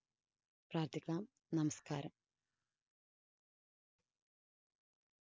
പ്രാര്‍ത്ഥിക്കാം. നമസ്കാരം.